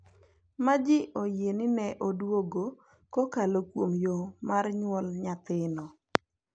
Ma ji oyie ni ne odwogo kokalo kuom yo mar nyuol nyathino.